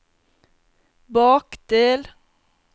bakdel